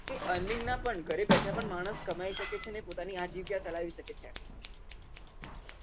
earning માં પણ ઘરે બેઠા પણ માણસ કમાઈ શકે છે પોતાની